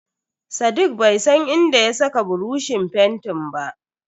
Sadiq bai san inda ya saka buroshin fentin ba.